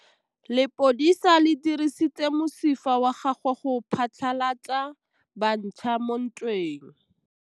Lepodisa le dirisitse mosifa wa gagwe go phatlalatsa batšha mo ntweng.